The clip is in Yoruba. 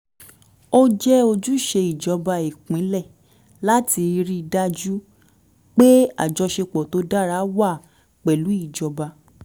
ó jẹ́ ojúṣe ìjọba ìpínlẹ̀ láti rí i dájú pé àjọṣepọ̀ tó dára wà pẹ̀lú ìjọba